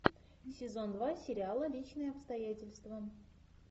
сезон два сериала личные обстоятельства